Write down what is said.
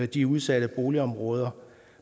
de udsatte boligområder